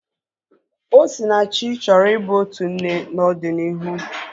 Osinachi chọrọ i bụ otu nne n'ọdịnihu